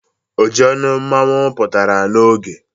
Ojionu Mmanwu putara n'oge